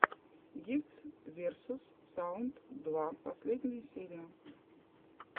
гифтс версус саунд два последняя серия